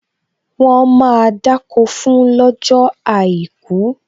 Wọn máa dákó fún lọ́jọ́ àìkú